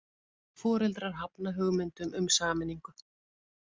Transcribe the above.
Foreldrar hafna hugmyndum um sameiningu